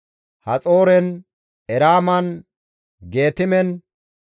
Haxooren, Eraaman, Geetime,